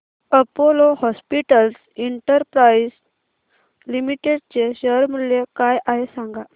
Apollo hospitals enterprise limited चे share मूल्य काय आहे सांगा